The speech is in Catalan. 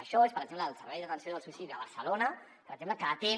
això és per exemple el servei d’atenció del suïcidi de barcelona per exemple que atén